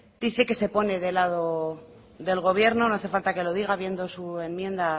dice que se pone de lado del gobierno no hace falta que lo diga viendo su enmienda